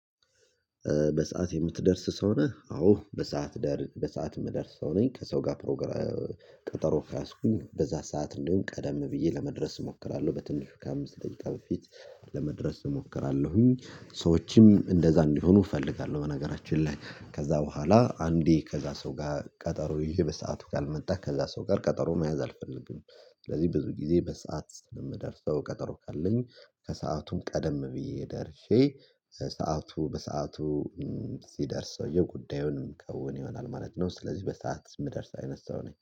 በሰአት የምትደርስ ሰው ነህ? አዎ በሰአት በሰአት የምደርስ ሰው ነኝ ከሰው ጋር ፕሮግራም ቀጠሮ ከያዝኩኝ በዛ ሰዓት እንዲሆን ቀደም ብዬ ለመድረስ እሞክራለሁ። በትንሹ ከአምስት ደቂቃ በፊት ለመድረስ እሞክራለሁኝ ሰዎችም እንደዛ እንዲሆኑ እፈልጋለሁ። በነገራችን ላይ ከዛ በኋላ አንዴ ከዛ ሰው ጋር ቀጠሮ ይሄ በሰአቱ ካልመጣ ከዛ ሰው ጋር ቀጠሮ መያዝ አልፈልግም። ስለዚህ ብዙ ጊዜ በሰአት የምደርሰው ቀጠሮ ካለኝ ከሰአቱም ቀደም ብዬ ደርሼ ሰዓቱ በሰአቱ ሲደርስ ሰውዬ ጉዳዩንም ከውን ይሆናል ማለት ነው። ስለዚህ በሰአት የምደርስ አይነት ሰው ነኝ